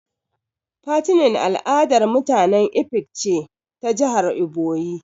"Fattening" al'adar mutanen ifik ce ta jihar iboyi.